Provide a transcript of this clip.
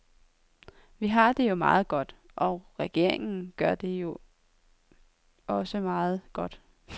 Vi har det jo meget godt, og regeringen gør det da også meget godt.